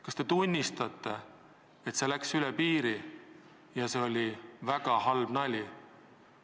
Kas te tunnistate, et see läks üle piiri ja see oli väga halb nali?